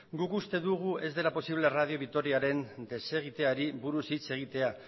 guk uste dugu ez dela posible radio vitoriaren desegiteari buruz hitz egitea